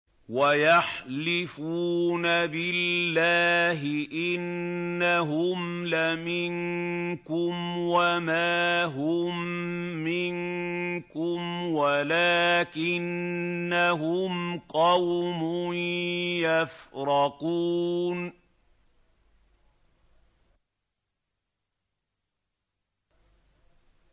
وَيَحْلِفُونَ بِاللَّهِ إِنَّهُمْ لَمِنكُمْ وَمَا هُم مِّنكُمْ وَلَٰكِنَّهُمْ قَوْمٌ يَفْرَقُونَ